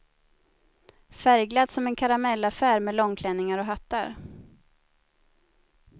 Färgglatt som en karamellaffär med långklänningar och hattar.